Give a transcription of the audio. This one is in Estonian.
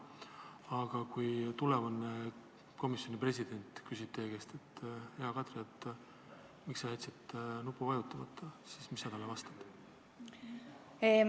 Aga kui tulevane komisjoni president küsib teie käest, hea Kadri, miks te jätsite nupule vajutamata, siis mis te talle vastate?